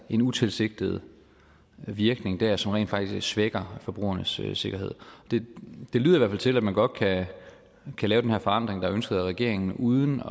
en utilsigtet virkning dér som rent faktisk svækker forbrugernes sikkerhed det lyder i til at man godt kan lave den her forandring der er ønsket af regeringen uden